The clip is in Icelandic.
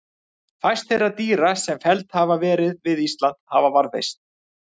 Fæst þeirra dýra sem felld hafa verið á eða við Ísland hafa varðveist.